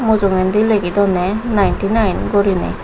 mujugendey legidondey ninety nine guriney.